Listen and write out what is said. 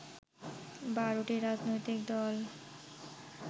১২টি রাজনৈতিক দল